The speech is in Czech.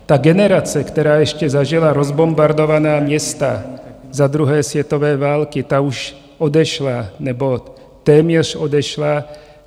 Ta generace, která ještě zažila rozbombardovaná města za 2. světové války, ta už odešla, nebo téměř odešla.